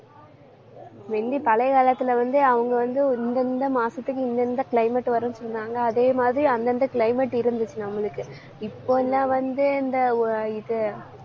முந்தி பழைய காலத்துல வந்து அவங்க வந்து இந்த இந்த மாசத்துக்கு, இந்த இந்த climate வரும்னு சொன்னாங்க. அதே மாதிரி, அந்தந்த climate இருந்துச்சு நம்மளுக்கு இப்பல்லாம் வந்து, இந்த ஓ இது